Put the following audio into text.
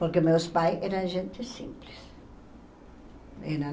Porque meus pais eram gente simples. Eram